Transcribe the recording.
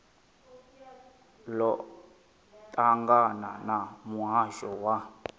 ḽo ṱangana na muhasho wa